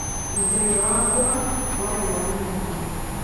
Mũthenya wakwa warĩ wa mĩhang'o.